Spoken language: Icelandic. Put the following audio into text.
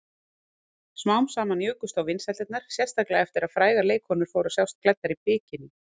Smám saman jukust þó vinsældirnar, sérstaklega eftir að frægar leikkonur fóru að sjást klæddar bikiní.